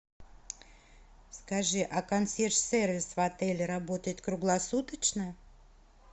скажи а консьерж сервис в отеле работает круглосуточно